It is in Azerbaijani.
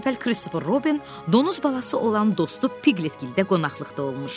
Bir gün əvvəl Kristofer Robin donuz balası olan dostu Piqlitgildə qonaqlıqda olmuşdu.